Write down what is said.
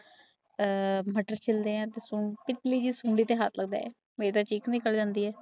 ਆ ਮਟਰ ਛਿਲਦੀਆਂ ਤੇ ਸੁਡੀ ਤੇ ਹੱਥ ਲੱਗਦਾ ਹੈ ਮਾਰੀ ਥਾਂ ਚੀਕ ਨਿਕਲ ਜਾਂਦੀ ਹੈ